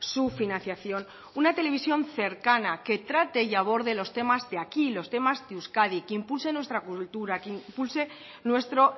su financiación una televisión cercana que trate y aborde los temas de aquí los temas de euskadi que impulse nuestra cultura que impulse nuestro